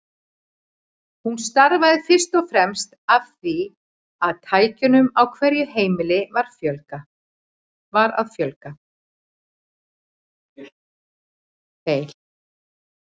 Hún stafaði fyrst og fremst af því að tækjunum á hverju heimili var að fjölga.